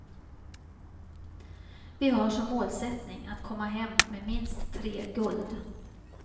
Vi har som målsättning att komma hem med minst tre guld.